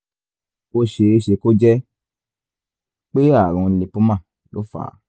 ó ṣeé ṣe kó jẹ́ pé ààrùn lípómà ló fà á